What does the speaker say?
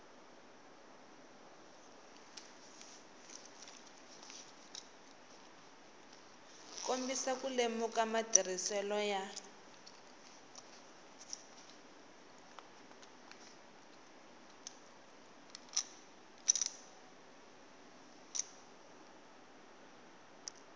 kombisa ku lemuka matirhiselo ya